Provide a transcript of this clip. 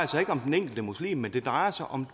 sig ikke om den enkelte muslim men det drejer sig om